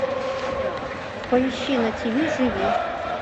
поищи на тиви живи